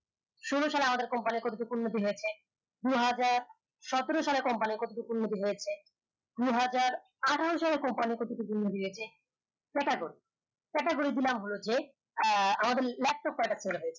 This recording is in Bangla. ষোল সালে আমাদের company উন্নতি হয়েছে দু হাজার সতেরো সালে company কত টুক উন্নতি হয়েছে দু হাজার আঠারো সালে company কত টুকু উন্নতি হয়েছে ক্যালাগর category দিলাম হল যে আহ আমাদের leptop